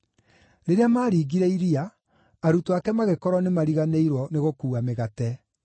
Rĩrĩa maaringire iria, arutwo ake magĩkorwo nĩmariganĩirwo nĩgũkuua mĩgate.